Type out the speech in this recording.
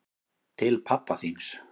Til pabba þíns.